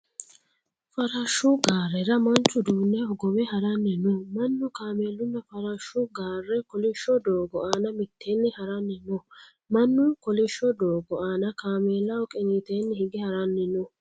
Farashshu gaarera manchu uduunne hogowe haranni no. Mannu, kaamelunna farashshu gaare kolishso doogo aana mitteenni haranni no. Mannu koolishsho doogo aana kaamelaho qiiniteenni hige haranni no.